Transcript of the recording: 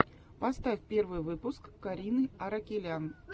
поставь первый выпуск карины аракелян